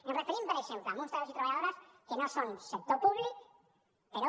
ens referim per exemple a uns treballadors i treballadores que no són sector públic però